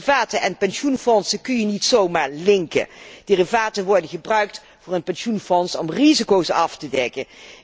Derivaten en pensioenfondsen kun je niet zomaar linken Derivaten worden gebruikt voor een pensioenfonds om risico's af te dekken.